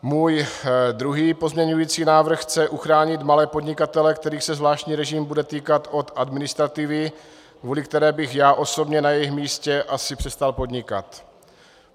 Můj druhý pozměňovací návrh chce uchránit malé podnikatele, kterých se zvláštní režim bude týkat, od administrativy, kvůli které bych já osobně na jejich místě asi přestal podnikat.